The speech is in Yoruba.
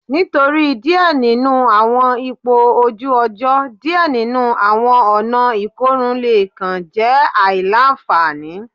Nitori diẹ ninu awọn ipo oju ojo, diẹ ninu awọn ọna ikorun le kan jẹ aila-nfani